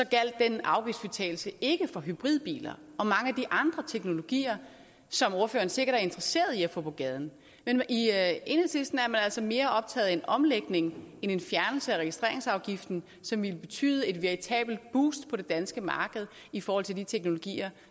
gjaldt den afgiftsfritagelse ikke for hybridbiler og mange af de andre teknologier som ordføreren sikkert er interesseret i at få på gaden i enhedslisten er man altså mere optaget af en omlægning end en fjernelse af registreringsafgiften som ville betyde et veritabelt boost på det danske marked i forhold til de teknologier